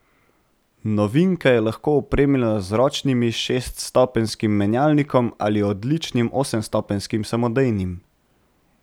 Novinka je lahko opremljena z ročnim šeststopenjskim menjalnikom ali odličnim osemstopenjskim samodejnim.